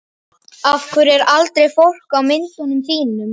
Af hverju er aldrei fólk á myndunum þínum?